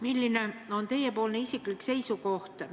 Milline on teie isiklik seisukoht?